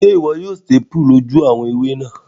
Sé wo yio staple àwon ojú ewé náà